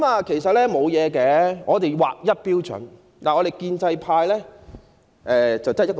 其實只需要有一套劃一標準便可，建制派的標準只得一個。